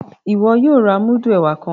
Iwọ yóò rà mudu ẹwà kàn!